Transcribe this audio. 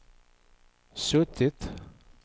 suttit